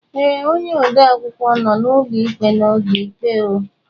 Ee, onye ode akwụkwọ nọ n'ụlọ ikpe n'oge ikpe.